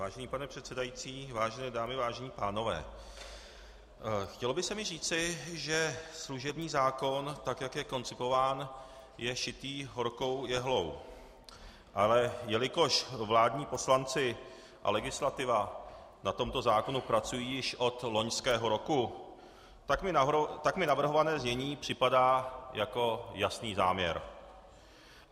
Vážený pane předsedající, vážené dámy, vážení pánové, chtělo by se mi říci, že služební zákon, tak jak je koncipován, je šitý horkou jehlou, ale jelikož vládní poslanci a legislativa na tomto zákonu pracují již od loňského roku, tak mi navrhované znění připadá jako jasný záměr.